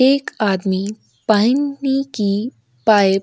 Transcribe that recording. एक आदमी पानी की पाईप --